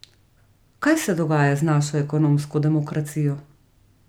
Kaj se dogaja z našo ekonomsko demokracijo?